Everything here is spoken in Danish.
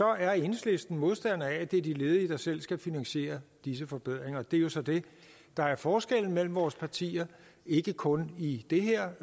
er enhedslisten modstander af at det er de ledige der selv skal finansiere disse forbedringer det er jo så det der er forskellen mellem vores partier ikke kun i det her